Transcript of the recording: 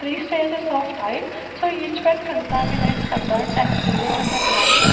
three stages of type so each bed contaminate a bed and pillow and a blanket.